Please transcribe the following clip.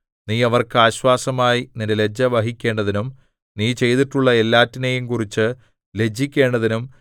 നീ അവർക്ക് ആശ്വാസമായി നിന്റെ ലജ്ജ വഹിക്കേണ്ടതിനും നീ ചെയ്തിട്ടുള്ള എല്ലാറ്റിനെയും കുറിച്ചു ലജ്ജിക്കേണ്ടതിനും